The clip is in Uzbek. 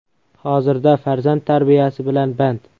Hozirda farzand tarbiyasi bilan band.